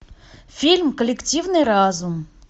фильм коллективный разум